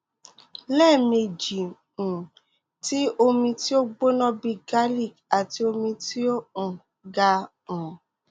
lẹmeji um ti omi ti o gbona bii garlic ati omi ti o um ga um